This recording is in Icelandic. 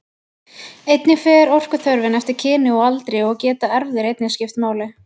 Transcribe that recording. Einnig fer orkuþörfin eftir kyni og aldri og geta erfðir einnig skipt máli.